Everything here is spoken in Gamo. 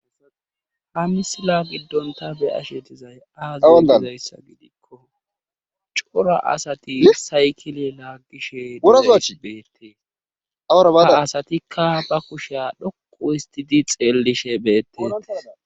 Ha misila gidon ta be'ashe dizayssi aaze gizayssa gidikko cora asati saykile laagishe dizayssi beetees. ha asatikka ba kushiya dhoqqu histidi xeelishe beetees.